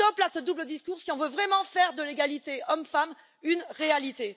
Stop à ce double discours, si l'on veut vraiment faire de l'égalité hommes femmes une réalité.